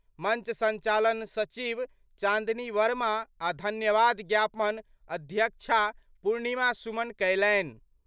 मंच संचालन सचिव चांदनी वर्मा आ' धन्यवाद ज्ञापन अध्यक्षा पूर्णिमा सुमन कयलनि।